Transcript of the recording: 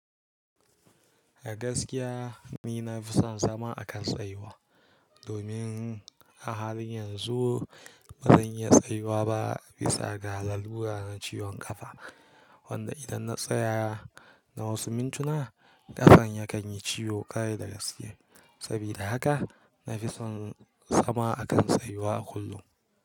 A gaskiya ni na fi son zama akan tsayuwa domin a halin yanzu ba zan iya tsayuwa ba bisa ga lalura na ciwon kafa wanda idan na tsaya na wasu mintuna, ƙafar ya kan yi ciwo ƙarai daga siye. Saboda haka na fi son zama akan tsayuwa a kullum.